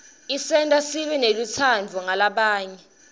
isenta sibe nelutsandvo ngalabanye